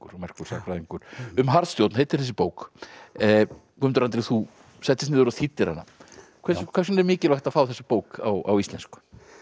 merkur sagnfræðingur um harðstjórn heitir þessi bók Guðmundur Andri þú settist niður og þýddir hana hvers vegna er mikilvægt að fá þessa bók á íslensku